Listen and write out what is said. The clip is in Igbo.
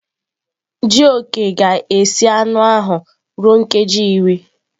Jioke ga-esi anụ ahụ ruo nkeji iri.